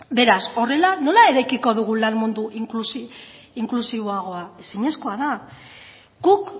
beraz horrela nola eraikiko lan mundu inklusiboagoa ezinezkoa da guk